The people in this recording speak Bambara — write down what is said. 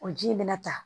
O ji in bɛna ta